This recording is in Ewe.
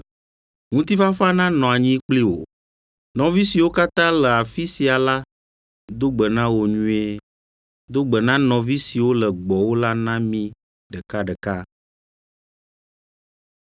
Ŋutifafa nanɔ anyi kpli wò. Nɔvi siwo katã le afi sia la do gbe na wò nyuie. Do gbe na nɔvi siwo le gbɔwò la na mí ɖekaɖeka.